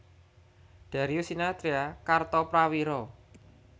Darius Sinathrya Kartoprawiro